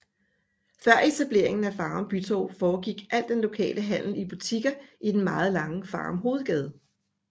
Før etableringen af Farum Bytorv foregik al den lokale handel i butikker i den meget lange Farum Hovedgade